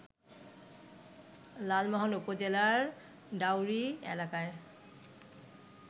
লালমোহন উপজেলার ডাওরী এলাকায়